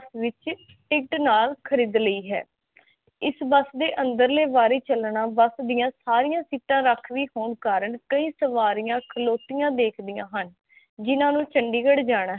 ticket ਨਾਲ ਖਰੀਦ ਲਈ ਹੈ ਇਸ ਬੱਸ ਦੇ ਅੰਦਰਲੇ ਵਾਰੀ ਚਲਣਾ ਬੱਸ ਦੀਆ ਸਾਰਿਆ ਸੀਟਾਂ ਰਾਖਵੀ ਹੋਣ ਕਾਰਨ ਕਈ ਸਵਾਰਿਆ ਖਲੋਤਿਆ ਦੇਖਦਿਆ ਹਨ ਜਿੰਨਾ ਨੂੰ ਚੰਡੀਗੜ੍ਹ ਜਾਣਾ ਹੈ